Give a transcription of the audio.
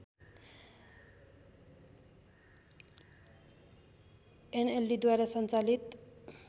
एनएलडीद्वारा सञ्चालित